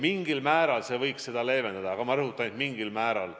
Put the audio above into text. Mingil määral see muudatus võiks seda olukorda leevendada, aga ma rõhutan, et vaid mingil määral.